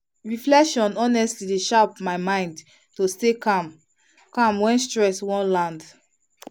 reflection honestly dey shape my mind to stay calm calm when stress wan land.